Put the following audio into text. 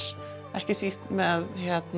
ekki síst með